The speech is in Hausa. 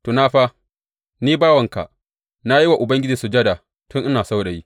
Tuna fa, ni bawanka, na yi wa Ubangiji sujada tun ina saurayi.